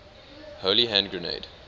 holy hand grenade